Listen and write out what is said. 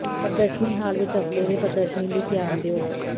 ਪ੍ਰਦਰਸ਼ਨੀ ਹਾਲ ਵਿਚ ਹਫ਼ਤੇ ਦੇ ਪ੍ਰਦਰਸ਼ਨੀ ਲਈ ਧਿਆਨ ਦਿਓ